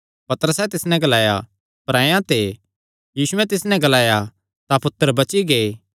पतरसैं तिस नैं ग्लाया परायां ते यीशुयैं तिस नैं ग्लाया तां पुत्तर बची गै